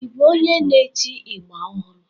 Ị bụ onye n'eti ịgba ọhụrụ?